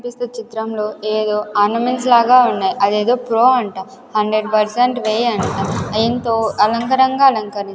పిస్తూ చిత్రంలో ఏదో ఆర్నమెంట్స్ లాగా ఉన్నాయ్ అదేదో ప్రో అంట హండ్రెడ్ పర్సెంట్ వే అంట దీంతో అలంకరంగా అలంకరి --